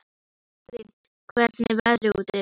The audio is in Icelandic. Astrid, hvernig er veðrið úti?